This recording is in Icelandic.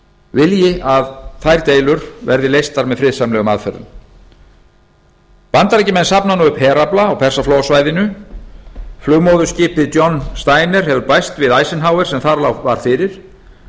vilji að þær deilur verði leystar með friðsamlegum aðferðum bandaríkjamenn safna nú upp herafla á persaflóasvæðinu flugmóðurskipið john steiner hefur bæst við eisenhower sem þar var fyrir